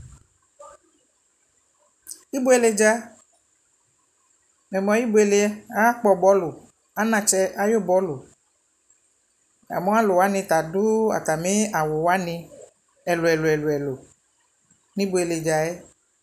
ɛbʋɛlɛ dza mɛmʋ ayi ɛbʋɛlɛ? aka kpɔ bɔlʋ, anakyɛ ayi bɔlʋ, yamʋ alʋ wani ta adʋ atami awʋ wani ɛlʋɛlʋ nʋɛbʋɛlɛ dzaɛ